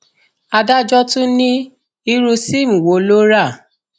adájọ tún ní irú sìmi wo ló rà